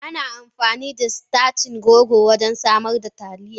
Ana amfani da sitacin rogo wajen samar da Taliya.